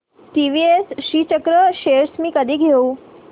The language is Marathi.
टीवीएस श्रीचक्र शेअर्स मी कधी घेऊ